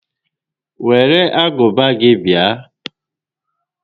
Were agụba gị bịa